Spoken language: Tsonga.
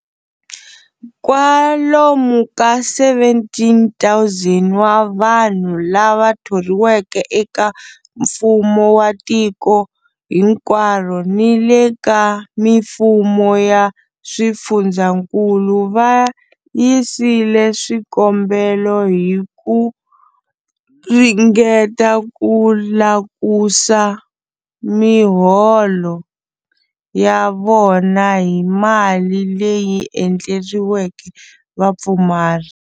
Kwalomu ka 17,000 wa vanhu lava thoriweke eka mfumo wa tiko hinkwaro ni le ka mifumo ya swifundzankulu va yisile swikombelo hi ku ringeta ku tlakusa miholo ya vona hi mali leyi endleriweke vapfumari.